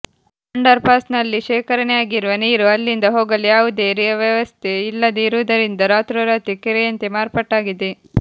under pass ನಲ್ಲಿ ಶೇಖರಣೆಯಾಗಿರುವ ನೀರು ಅಲ್ಲಿಂದ ಹೋಗಲು ಯಾವುದೇ ವ್ಯವಸ್ಥೆ ಇಲ್ಲದೆ ಇರುವುದರಿಂದ ರಾತ್ರೋ ರಾತ್ರಿ ಕೆರೆಯಂತೆ ಮಾರ್ಪಾಟಾಗಿದೆ